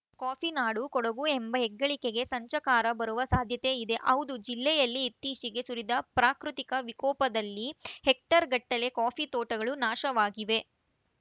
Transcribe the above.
coffee ನಾಡು ಕೊಡಗು ಎಂಬ ಹೆಗ್ಗಳಿಕೆಗೇ ಸಂಚಕಾರ ಬರುವ ಸಾಧ್ಯತೆ ಇದೆ ಹೌದು ಜಿಲ್ಲೆಯಲ್ಲಿ ಇತ್ತೀಚೆಗೆ ಸುರಿದ ಪ್ರಾಕೃತಿಕ ವಿಕೋಪದಲ್ಲಿ ಹೆಕ್ಟೇರ್‌ಗಟ್ಟಲೆ ಕಾಫಿ ತೋಟಗಳೂ ನಾಶವಾಗಿವೆ